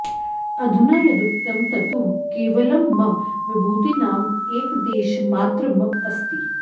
अधुना यदुक्तं तत्तु केवलं मम विभूतीनाम् एकदेशमात्रम् अस्ति